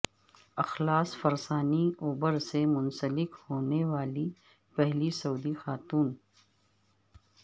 اخلاص فرسانی اوبر سے منسلک ہونے والی پہلی سعودی خاتون